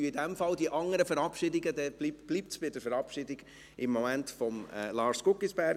Dann bleibt es im Moment bei der Verabschiedung von Lars Guggisberg.